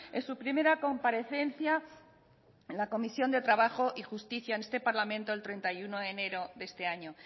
en su primera comparecencia en la comisión de trabajo y justicia en este parlamento el treinta y uno de enero de este año